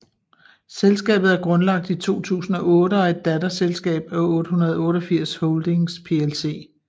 Selskabet er grundlagt i 2008 og er et datterselskab af 888 Holdings plc